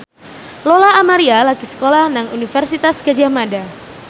Lola Amaria lagi sekolah nang Universitas Gadjah Mada